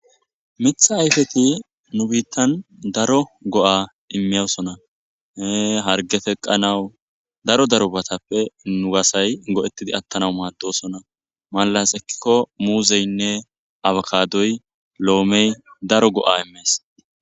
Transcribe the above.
mitha ayfeti nu biittan daro go7a immiyosona hee hargeteqqanawu daro daro batappe nu gasay go7ettidi attana maaddosona maalas ekkikko muuzeynne abakadoy lo7omey daro go7a immees